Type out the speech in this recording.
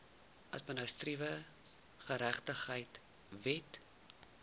administratiewe geregtigheid wet